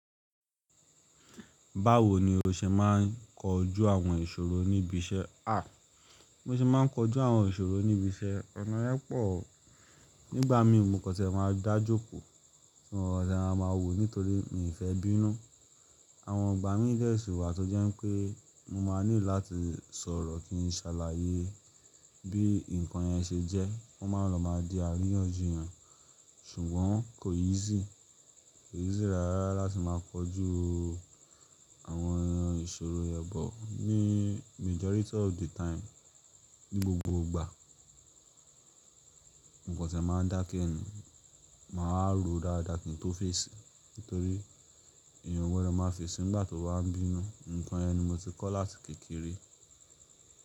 Báwo ni o ṣe máà ń kojú àwọn ìṣòro níbi iṣẹ́? A! Mo ṣe máà ń kojú àwọn ìṣòro níbi iṣẹ́ ọ̀nà yẹ́pọ̀. Nígbà mi mo kàn ṣẹ̀ máà dá jókòó, mo kan ṣẹ̀ maa máà wò nítorí mi fẹ́ bínú. Àwọn igbà mi dẹ́ ṣi wá tó jẹ́ pé mo máà nílò láti sọ̀rọ̀ kí n ṣàlàyé bí nǹkan yẹn ṣe jẹ́. Kọ́ máà lọ máà di àríyànjiyàn ṣùgbọ́n kò easy, kò easy rárá láti máà kojú àwọn ìṣòro but ní majority of the time. Ní gbogbo ìgbà mo kàn ṣẹ̀ máà dákẹ́ ni, màá rò dáadáa kí n tó fèsì nítorí ìyàn gbodo máà fèsì nígbà tó bà ń bínú. Ǹǹkan yẹn ni mo ti kọ́ láti kékeré.